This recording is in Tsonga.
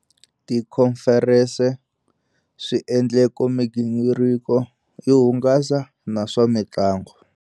Tikhomferense, swi endleko migingiriko yo hungasa na swa mitlangu.